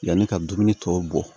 Yanni ka dumuni tɔw bɔ